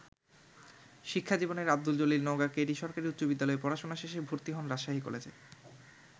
শিক্ষা জীবনের Abdul Jalil Naogaon K. D. সরকারী উচ্চ বিদ্যালয়ে পড়াশুনা শেষে ভর্তি হন রাজশাহী কলেজে।